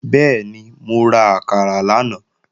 Bẹ́ẹ̀ni, mo ra àkàrà lánàá